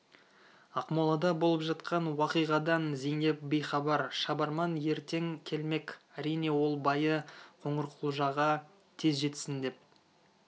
ақмолада болып жатқан уақиғадан зейнеп бейхабар шабарман ертең келмек әрине ол байы қоңырқұлжаға тез жетсін деп